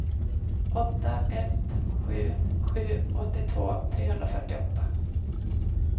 åtta ett sju sju åttiotvå trehundrafyrtioåtta